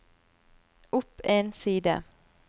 opp en side